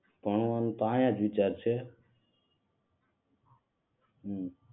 ભણવાનો તો આહીંયા જ વિચાર છે.